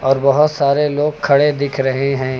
और बहुत सारे लोग खड़े दिख रहे हैं।